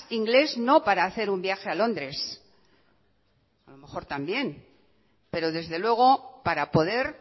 ingles no para hacer un viaje a londres a lo mejor también pero desde luego para poder